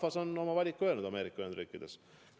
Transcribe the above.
Rahvas on oma valiku Ameerika Ühendriikides teinud.